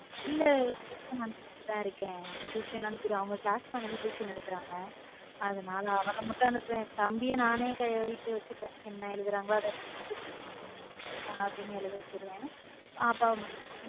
இல்ல tuition அனுப்பி விட்டு தான் இருக்கேன் tuition ஆணுபிருவேன் அவங்க class madam tuition எடுக்குறாங்க அதனால அவள மட்டும் அனுப்புவேன் தம்பியை நானே வீட்ல வச்சுப்பேன் என்ன எழுதுறாங்களோ அவங்க எழுதி வச்சிடுவேன் பாப்பாவை மட்டும்.